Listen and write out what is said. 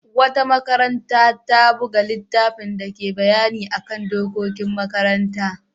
Wata makaranta ta buga littafin dake bayani kan dokokin makaranta.